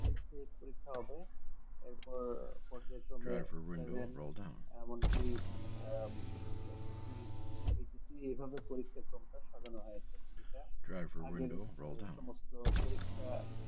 পরীক্ষা হবে এরপর পর্যায়ক্রমে seven এমনকি আহ HSCHSC এইভাবে পরিক্ষাক্রমটা সাজানো হয়েছে যেটা আগের সমস্ত পরীক্ষা